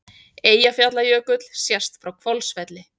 Eyjafjallajökull sést frá Hvolsvelli.